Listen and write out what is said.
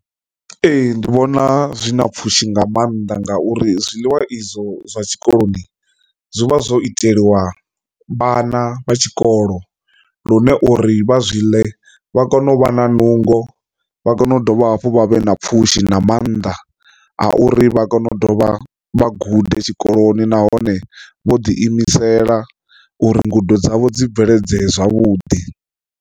Ee, ndi vhona zwi na pfhushi nga maanḓa ngauri zwiḽiwa izwo zwa tshikoloni zwi vha zwo iteliwa vhana vha tshikolo lune uri vha zwi ḽe vha kone u vha na nungo vha kone u dovha hafhu vha vhe na pfhushi na maanḓa a uri vha kone u dovha vha gude tshikoloni nahone vho ḓi imisela uri ngudo dzavho dzi bveledzee zwavhuḓi.